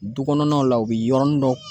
Dukɔnɔnaw la u bi yɔrɔnin dɔ